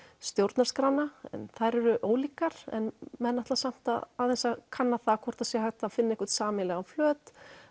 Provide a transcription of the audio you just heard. stjórnarskránna en þær eru ólíkar en menn ætla samt aðeins að kanna hvort hægt sé að finna einhvern sameiginlegan flöt